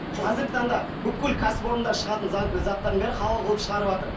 қазіргі таңда бүкіл кәсіпорындар шығатын заттардың барлығы халал қылып шығарыватыр